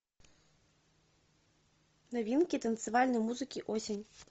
новинки танцевальной музыки осень